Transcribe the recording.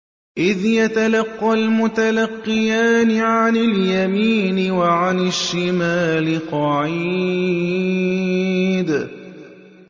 إِذْ يَتَلَقَّى الْمُتَلَقِّيَانِ عَنِ الْيَمِينِ وَعَنِ الشِّمَالِ قَعِيدٌ